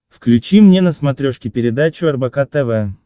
включи мне на смотрешке передачу рбк тв